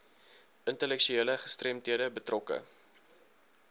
intellektuele gestremdhede betrokke